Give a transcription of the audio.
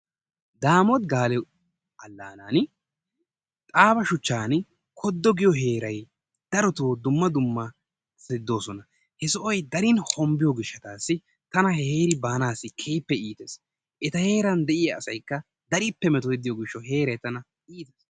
Daamoti Gaale allanaan Aaba shuchchan koddo giyo heeray darotoo dumma dummabati doosona. He sohoy darin hombbiyo gishshatassi tana he heeri baanassi keehippe iittees. Eta heeran de'iyaa asaykka darippe metotidi diyo gishshawu he heeray tana iite...